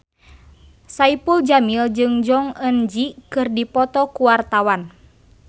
Saipul Jamil jeung Jong Eun Ji keur dipoto ku wartawan